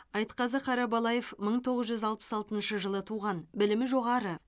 айтқазы қарабалаев мың тоғыз жүз алпыс алтыншы жылы туған білімі жоғары